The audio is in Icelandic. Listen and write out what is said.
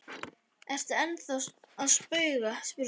Ertu ennþá að spauga? spurði Stefán efins.